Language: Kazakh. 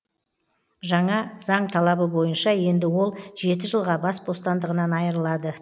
жаңа заң талабы бойынша енді ол жеті жылға бас бостандығынан айырылады